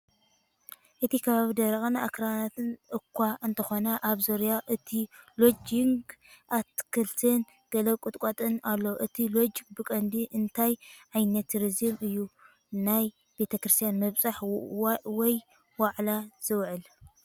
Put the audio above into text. እቲ ከባቢ ደረቕን ኣኽራናትን እኳ እንተኾነ ኣብ ዙርያ እቲ ሎጅ ግን ኣታኽልትን ገለ ቁጥቋጥን ኣሎ። እቲ ሎጅ ብቐንዱ ንእንታይ ዓይነት ቱሪዝም እዩ (ናይ ቤተክርስትያን ምብጻሕ ወይ ዋዕላ) ዝውዕል?